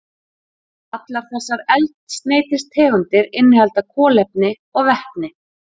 Allar þessar eldsneytistegundir innihalda kolefni og vetni.